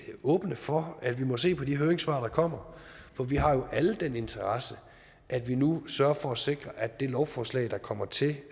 åbne for at vi må se på de høringssvar der kommer for vi har jo alle den interesse at vi nu sørger for at sikre at det lovforslag der kommer til